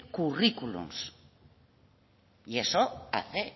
currículums y eso hace